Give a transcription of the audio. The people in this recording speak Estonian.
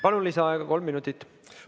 Palun, lisaaega kolm minutit!